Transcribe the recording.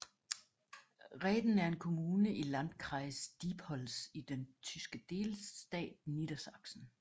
Rehden er en kommune i i Landkreis Diepholz i den tyske delstat Niedersachsen